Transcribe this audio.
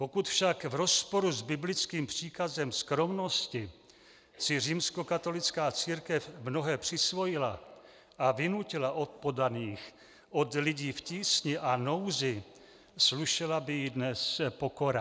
Pokud však v rozporu s biblickým příkazem skromnosti si římskokatolická církev mnohé přisvojila a vynutila od podaných, od lidí v tísni a nouzi, slušela by jí dnes pokora.